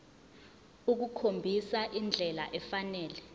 ukukhombisa indlela efanele